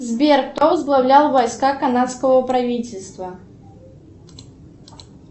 сбер кто возглавлял войска канадского правительства